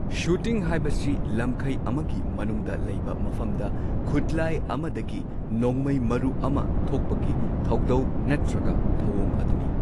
Shooting ꯍꯥꯏꯕꯁꯤ ꯂꯝꯈꯩ ꯑꯃꯒꯤ ꯃꯅꯨꯡꯗ ꯂꯩꯕ ꯃꯐꯝꯗ ꯈꯨꯠꯂꯥꯏ ꯑꯃꯗꯒꯤ ꯅꯣꯡꯃꯩ ꯃꯔꯨ ꯑꯃ ꯊꯣꯛꯄꯒꯤ ꯊꯧꯗꯧ ꯅꯠꯇ꯭ꯔꯒ ꯊꯧꯑꯣꯡ ꯑꯗꯨꯅꯤ꯫